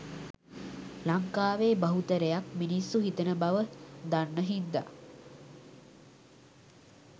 ලංකාවේ බහුතරයක් මිනිස්සු හිතන බව දන්න හින්දා